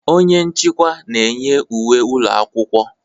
Onye nchịkwa na-enye uwe ụlọ akwụkwọ.